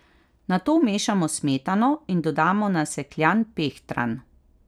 Nato vmešamo smetano in dodamo nasekljan pehtran.